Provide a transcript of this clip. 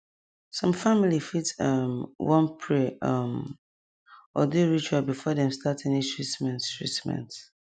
some family fit um wan pray um or do ritual before dem start any treatment treatment